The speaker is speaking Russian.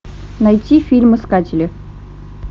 найти фильм искатели